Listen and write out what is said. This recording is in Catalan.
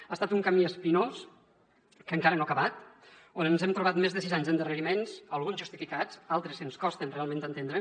ha estat un camí espinós que encara no ha acabat on ens hem trobat més de sis anys d’endarreriments alguns justificats altres ens costen realment d’entendre